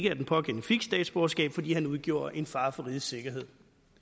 at den pågældende fik statsborgerskab fordi han udgjorde en fare for rigets sikkerhed